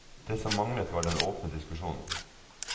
Det som manglet, var den åpne diskusjon.